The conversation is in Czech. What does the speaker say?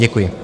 Děkuji.